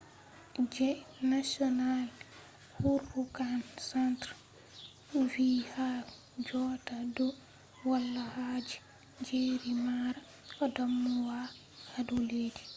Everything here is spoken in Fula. je national hurricane centre nhc vi ha jotta do wala haje jerry mara damuwa hado leddi